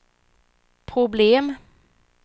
problem